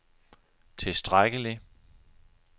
tilstrækkelig